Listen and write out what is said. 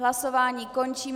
Hlasování končím.